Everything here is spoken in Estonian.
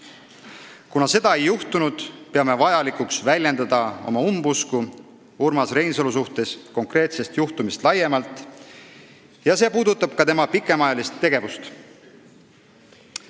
Kuna seda ei juhtunud, peame vajalikuks väljendada oma umbusku Urmas Reinsalu suhtes konkreetsest juhtumist laiemalt, see puudutab ka tema pikemaajalist tegevust.